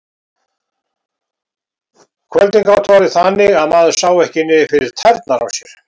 Kvöldin gátu orðið þannig að maður sá ekki niður fyrir tærnar á sér.